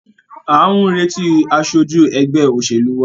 À ń retí aṣojú ẹgbẹ́ òṣèlú wa.